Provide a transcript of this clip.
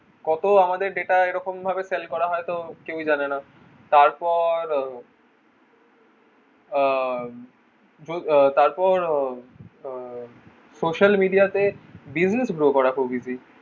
কত আমাদের data এরকম ভাবে sale করা হয় তা কেউই জানে না তারপর আহ আহ তারপর আহ social media তে business grow করা খুব easy